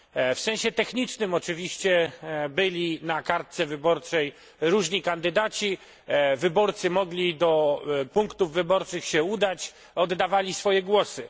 W sensie technicznym oczywiście byli na kartce wyborczej różni kandydaci, wyborcy mogli do punktów wyborczych się udać, oddawali swoje głosy.